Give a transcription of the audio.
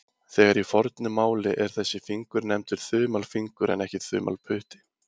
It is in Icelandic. Þegar í fornu máli er þessi fingur nefndur þumalfingur en ekki þumalputti.